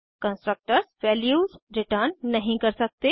constructors values return नहीं कर सकते